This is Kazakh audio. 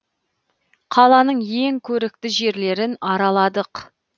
қаланың ең көрікті жерлерін араладық